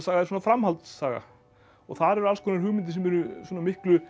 er svona framhaldssaga og þar eru alls konar hugmyndir sem eru miklu